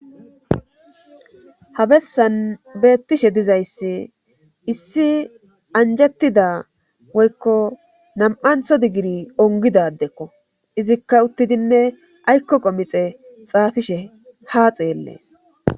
Habessan beettishe dizayssi issi anjettida woykko nam'antho diggiri ongidadekko izikka uttidinne aykko qomixe xaafishe ha xeellees.